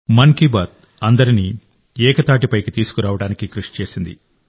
మన్ కీ బాత్ అందరినీ ఏకతాటిపైకి తీసుకురావడానికి కృషి చేసింది